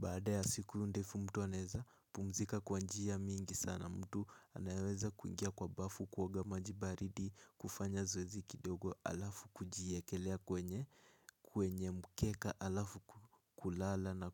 Baada ya siku ndefu mtuaneza, kupumzika kwa njia mingi sana mtu anaweza kuingia kwa bafu kuoga maji baridi kufanya zoezi kidogo alafu kujiekelea kwenye mukeka alafu kulala na